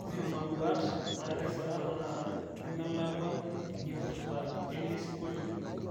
tushuma nduat natisira tenakata nemelakua eipirta elesingolio